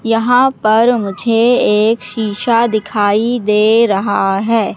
यहां पर मुझे एक शीशा दिखाई दे रहा है।